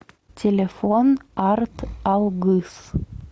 телефон арт алгыс